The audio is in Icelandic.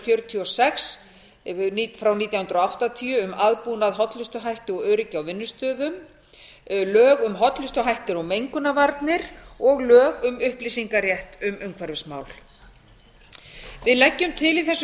fjörutíu og sex nítján hundruð áttatíu um aðbúnað hollustuhætti og öryggi á vinnustöðum lög um hollustuhætti og mengunarvarnir og lög um upplýsingarétt um umhverfismál við leggjum til í þessu